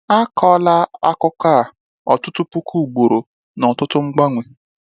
A kọọla akụkọ a ọtụtụ puku ugboro na ọtụtụ mgbanwe.